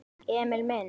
Emil minn.